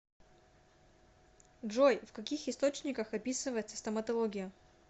джой в каких источниках описывается стоматология